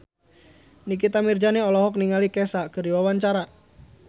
Nikita Mirzani olohok ningali Kesha keur diwawancara